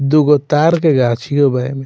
दुगो ताड़ के गछियों बा एमे।